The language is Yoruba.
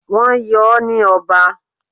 Wọ́n yọ ọ́ ní ọba.